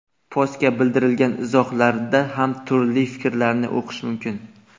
Postga bildirilgan izohlarda ham turli fikrlarni o‘qish mumkin.